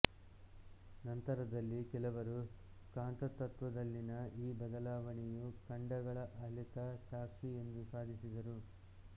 ನಂತರದಲ್ಲಿ ಕೆಲವರು ಕಾಂತತ್ವದಲ್ಲಿನ ಈ ಬದಲಾವಣೆಯು ಖಂಡಗಳ ಅಲೆತ ಸಾಕ್ಷಿ ಎಂದು ಸಾಧಿಸಿದರು